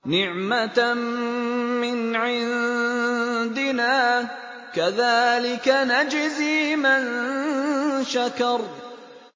نِّعْمَةً مِّنْ عِندِنَا ۚ كَذَٰلِكَ نَجْزِي مَن شَكَرَ